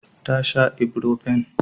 Ta sha ibrofen.